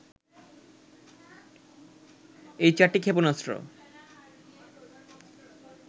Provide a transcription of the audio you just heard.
এই চারটি ক্ষেপণাস্ত্র